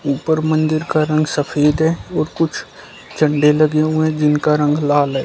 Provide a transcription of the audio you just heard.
ऊपर मंदिर का रंग सफेद है और कुछ झंडे लगे हुए जिनका रंग लाल है।